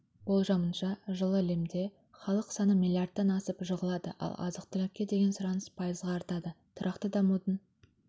болжамынша жылы лемде халық саны миллиардтан асып жығылады ал азық-түлікке деген сұраныс пайызға артады тұрақты дамудың